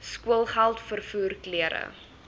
skoolgeld vervoer klere